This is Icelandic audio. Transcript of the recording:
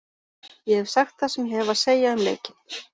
Ég hef sagt það sem ég hef að segja um leikinn.